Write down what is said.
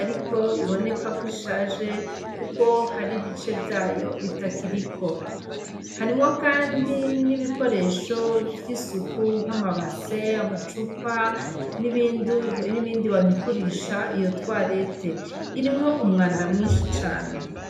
ariko iboneka ko ishaje, kuko hari bice vyayo bitakiriko harimwo, kandi n'ibikoresho vy'isuku nk'amabase amacupa n'ibindi banyukurisha iyo twarete irimwo umwanda mwinshi cane.